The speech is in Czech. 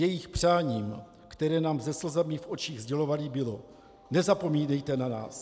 Jejich přáním, které nám se slzami v očích sdělovali, bylo: Nezapomínejte na nás.